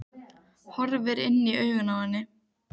Horfir inn í augun á henni.